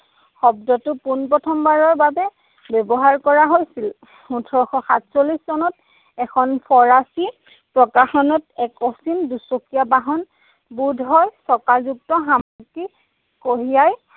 শব্দটো পোনপ্ৰথমবাৰৰ বাবে ব্যৱহাৰ কৰা হৈছিল। ওঠৰশ সাতচল্লিশ চনত এখন ফৰাছী প্ৰকাশনত এক অচিন দুচকীয়া বাহন, বোধ হয় চকাযুক্ত সামগ্ৰী কঢ়িয়াই